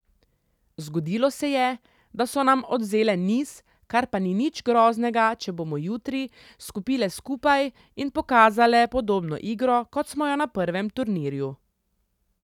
Zgodilo se je, da so nam odvzele niz, kar pa ni nič groznega, če bomo jutri skupile skupaj in pokazale podobno igro, kot smo jo na prvem turnirju.